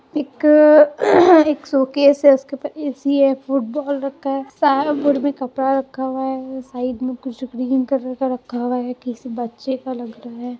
एक एक सूटकेस है उसके ऊपर ए.सी. है फुटबॉल रखा है साइड बोर्ड में कपड़ा रख हुआ है साइड में कुछ ग्रीन कलर रखा हुआ है किसी बच्चे का लग रहा है।